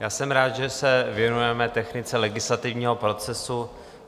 Já jsem rád, že se věnujeme technice legislativního procesu.